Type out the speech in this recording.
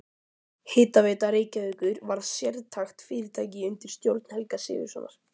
Hitaveita Reykjavíkur varð sérstakt fyrirtæki undir stjórn Helga Sigurðssonar.